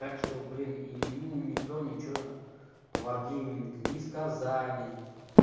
так что блин и ему никто ничего варгейминг не сказали